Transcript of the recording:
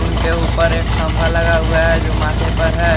उनके ऊपर एक खंभा लगा हुआ है जो माथे पर है।